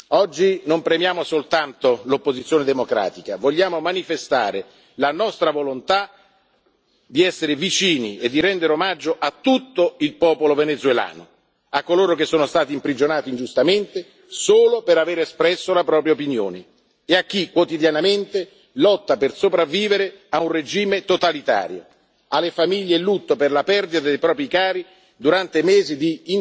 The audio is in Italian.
Oggi non premiamo soltanto l'opposizione democratica vogliamo manifestare la nostra volontà di essere vicini e di rendere omaggio a tutto il popolo venezuelano, a coloro che sono stati imprigionati ingiustamente solo per aver espresso la propria opinione e a chi, quotidianamente, lotta per sopravvivere a un regime totalitario, alle famiglie in lutto per la perdita dei propri cari durante